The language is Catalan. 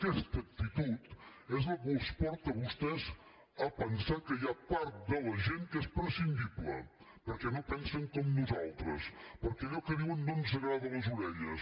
aquesta actitud és la que els porta a vostès a pensar que hi ha part de la gent que és prescindible perquè no pensen com nosaltres perquè allò que diuen no ens agrada a les orelles